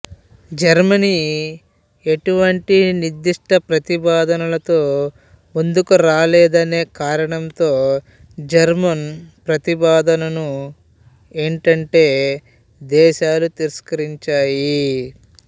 Germany ఎటువంటి నిర్దుష్ట ప్రతిపాదనలతో ముందుకు రాలేదనే కారణంతో జర్మన్ ప్రతిపాదనను ఎంటెంటే దేశాలు తిరస్కరించాయి